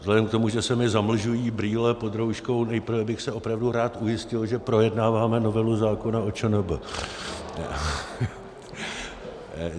Vzhlede k tomu, že se mi zamlžují brýle pod rouškou, nejprve bych se opravdu rád ujistil, že projednáváme novelu zákona o ČNB.